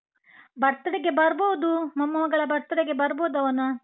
birthday ಗೆ ಬರ್ಬೋದು ಮೊಮ್ಮಗಳ birthday ಗೆ ಬರ್ಬೋದು ಅವನ.